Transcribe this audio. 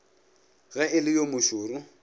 ge e le yo mošoro